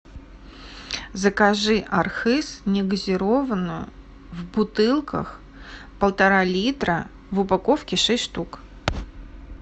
закажи архыз негазированную в бутылках полтора литра в упаковке шесть штук